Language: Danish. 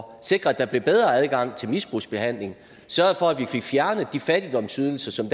og sikre at der blev bedre adgang til misbrugsbehandling sørge for at vi fik fjernet de fattigdomsydelser som